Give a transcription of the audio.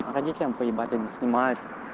родителям поебать они снимает